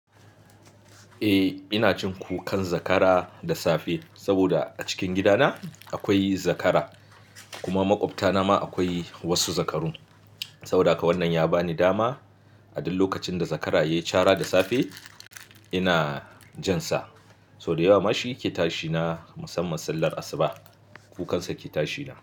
Eh ina jin kukan zakara da safe saboda a cikin gidana akwai zakara kuma maƙwabtana ma akwai wasu zakaru. Saboda haka wannan ya ba ni dama a duk lokacin da zakara ya yi cara da safe ina jin sa. Sau da yawa ma shi yake tashi na musamman sallar asuba. Kukansa ke tashi na.